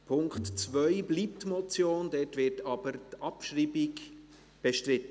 Der Punkt 2 bleibt eine Motion, dort wird aber die Abschreibung bestritten.